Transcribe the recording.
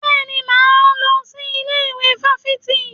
Bẹ́ẹ̀ni, mo máa lọ sí ilé ìwé fáfitì.